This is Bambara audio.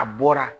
A bɔra